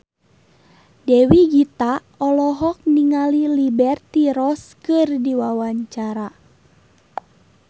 Dewi Gita olohok ningali Liberty Ross keur diwawancara